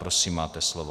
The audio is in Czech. Prosím, máte slovo.